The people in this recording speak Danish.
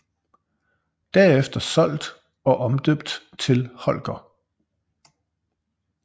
Derefter solgt og omdøbt til Holger